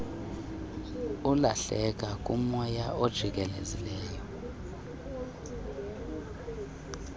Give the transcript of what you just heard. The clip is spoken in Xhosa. alahleka kumoya ojikelezileyo